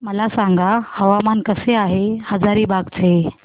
मला सांगा हवामान कसे आहे हजारीबाग चे